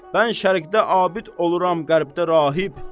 Mən şərqdə abid oluram, qərbdə rahib.